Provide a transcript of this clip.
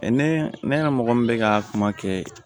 ne ne ka mɔgɔ min bɛ ka kuma kɛ